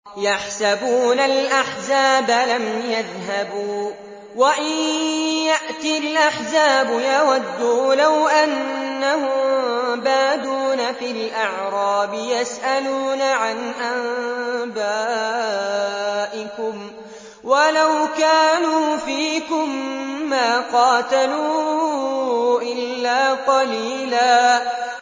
يَحْسَبُونَ الْأَحْزَابَ لَمْ يَذْهَبُوا ۖ وَإِن يَأْتِ الْأَحْزَابُ يَوَدُّوا لَوْ أَنَّهُم بَادُونَ فِي الْأَعْرَابِ يَسْأَلُونَ عَنْ أَنبَائِكُمْ ۖ وَلَوْ كَانُوا فِيكُم مَّا قَاتَلُوا إِلَّا قَلِيلًا